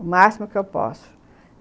O máximo que eu posso.